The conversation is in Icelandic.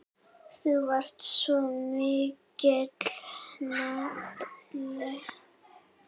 Þú varst svo mikill nagli.